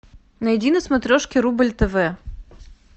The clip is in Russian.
найди на смотрешке рубль тв